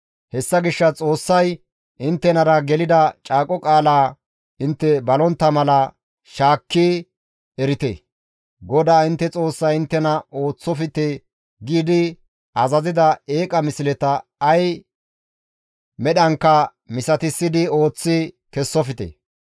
Hessa gishshas Xoossay inttenara gelida caaqo qaalaa intte balontta mala shaakki erite; GODAA intte Xoossay inttena ooththofte giidi azazida eeqa misleta ay medhankka misatissi ooththi kessofte.